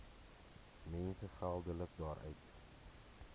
mense geldelik daaruit